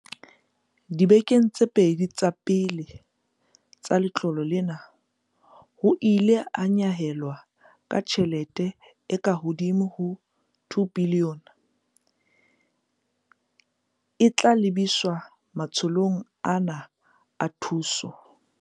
Dibekeng tse pedi tsa pele tsa letlole lena, ho ile ha nyehelwa ka tjhelete e ka hodimo ho R2 bilione, e tla lebiswa matsholong ana a thuso.